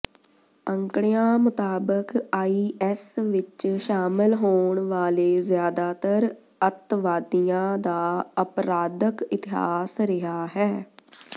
ਅੰਕੜਿਆਂ ਮੁਤਾਬਕ ਆਈਐੱਸ ਵਿਚ ਸ਼ਾਮਲ ਹੋਣ ਵਾਲੇ ਜ਼ਿਆਦਾਤਰ ਅੱਤਵਾਦੀਆਂ ਦਾ ਅਪਰਾਧਕ ਇਤਿਹਾਸ ਰਿਹਾ ਹੈ